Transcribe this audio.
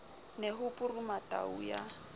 ne ho puruma tau ya